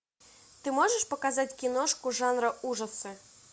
ты можешь показать киношку жанра ужасы